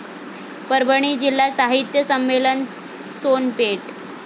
परभणी जिल्हा साहित्य संमेलन, सोनपेठ